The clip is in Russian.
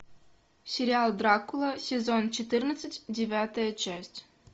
сериал дракула сезон четырнадцать девятая часть